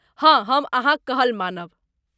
हँ, हम अहाँक कहल मानब।